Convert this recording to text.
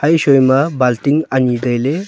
e shoi ma balting ani taile.